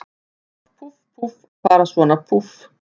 Bölvað, púff, púff, að fara svona, púff.